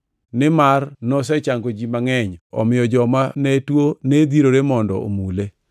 Nimar nosechango ji mangʼeny, omiyo jomane tuo ne dhirore mondo omule.